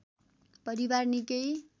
परिवार निकै